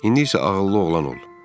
İndi isə ağıllı oğlan ol.